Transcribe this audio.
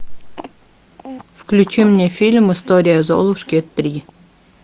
включи мне фильм история золушки три